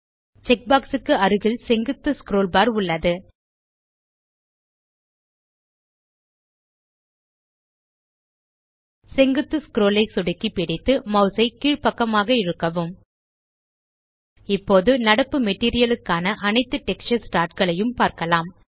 check box க்கு அருகில் செங்குத்து ஸ்க்ரோல் பார் உள்ளது செங்குத்து ஸ்க்ரோல் ஐ சொடுக்கி பிடித்து மாஸ் ஐ கீழ்பக்கமாக இழுக்கவும் இப்போது நடப்பு மெட்டீரியல் க்கான அனைத்து டெக்ஸ்சர் ஸ்லாட் களையும் பார்க்கலாம்